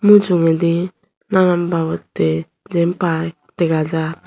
mujungedi nanan babotte Jin piy dega jar.